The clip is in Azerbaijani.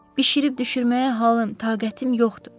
Bişirib-düşürməyə halım, taqətim yoxdur.